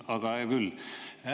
Aga hää küll!